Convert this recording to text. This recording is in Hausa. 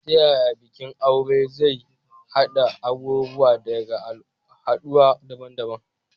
Ta yaya bikin aure mai zuwa zai haɗa abubuwa daga al'adu daban-daban?